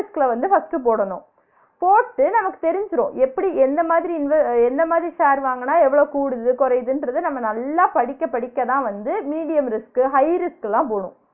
Risk அ வந்து first போடணும் போட்டு நமக்கு தெரிஞ்சிரும் எப்பிடி எந்த மாதிரி வந்து எந்த மாதிரி share வாங்குனா எவ்ளோ கூடுது குறயுதுன்றத நம்ம நல்லா படிக்க படிக்கதான் வந்து medium risk உ high risk க்குலாம் போனும்